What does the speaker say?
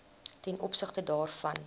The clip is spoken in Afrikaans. ten opsigte daarvan